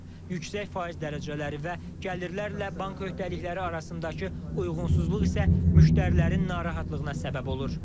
Yüksək faiz dərəcələri və gəlirlərlə bank öhdəlikləri arasındakı uyğunsuzluq isə müştərilərin narahatlığına səbəb olur.